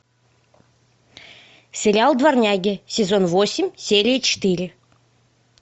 сериал дворняги сезон восемь серия четыре